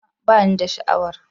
A'a ba ni da sha'awar.